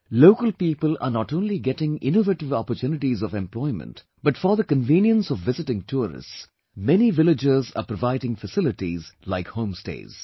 Local people are not only getting innovative opportunities of employment but for the convenience of visiting tourists, many villagers are providing facilities like home stays